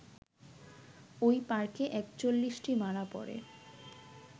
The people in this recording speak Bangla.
ওই পার্কে ৪১ টি মারা পড়ে